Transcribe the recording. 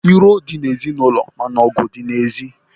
Iro dị n'ụlọ mana ọgụ dị n'èzí.